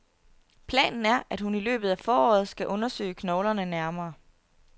Planen er, at hun i løbet af foråret skal undersøge knoglerne nærmere.